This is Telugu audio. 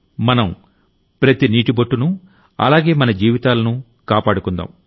మనం ప్రతి నీటి బొట్టునూ అలాగే మన జీవితాలను కాపాడుకుందాం